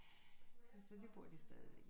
Så det bor de stadigvæk i